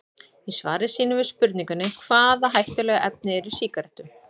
Í svari sínu við spurningunni Hvaða hættulegu efni eru í sígarettum?